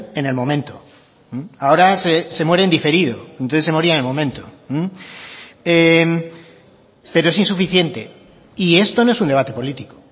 en el momento ahora se muere en diferido entonces se moría en el momento pero es insuficiente y esto no es un debate político